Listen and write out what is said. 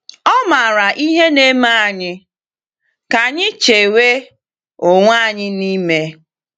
Ọ maara ihe na-eme anyị ka anyị chewe onwe anyị n’ime.